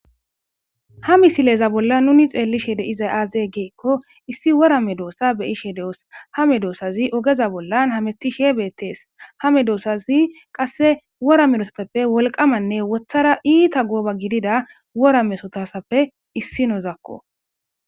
Ha misileza bollan nuni xeellishe de7izay aazee geekko issi wora me doossa beyishe de7os hame doossazi ogeza bollan hamettishe beettees hame mesotasappe qasse wora mesotasappe wolqamanne wothara iita gooba gidida wora mesotasappe issi nozakko.